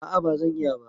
A'a bazan iya ba